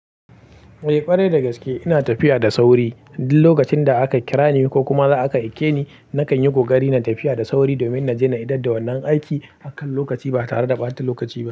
Eh ƙwarai da gaske ina tafiya da sauri. Duk lokacin da aka kira ni ko kuma za a ka aike ni, na kan yi ƙoƙari na tafiya da sauri domin na je na idar da wannan aiki akan lokaci ba tare da ɓata lokaci ba.